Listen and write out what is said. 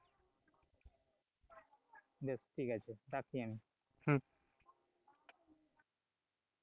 বেশ ঠিকাছে রাখি আমি।